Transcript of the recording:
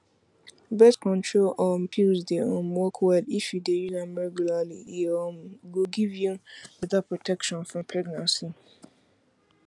birth control um pills dey um work well if you dey use am regularly e um go give you better protection from pregnancy